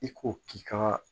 I ko k'i ka